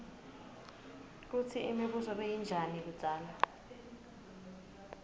kutsi imibuso beyinjani kudzala